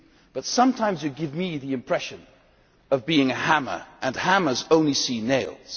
but sometimes you give me the impression of being a hammer, and hammers only see nails.